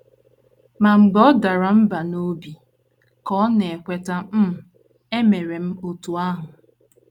Ma mgbe ọ dara mbà n’obi, ka ọ na - ekweta um, emere m otú ahụ.